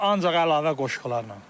Ancaq əlavə qoşqularla.